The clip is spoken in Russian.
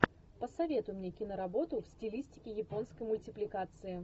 посоветуй мне киноработу в стилистике японской мультипликации